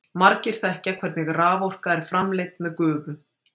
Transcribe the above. Margir þekkja hvernig raforka er framleidd með gufu.